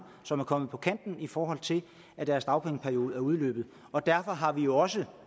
som er kommet på kanten i forhold til at deres dagpengeperiode udløber derfor har vi jo også